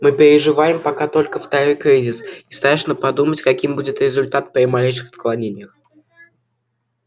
мы переживаем пока только второй кризис и страшно подумать каким будет результат при малейших отклонениях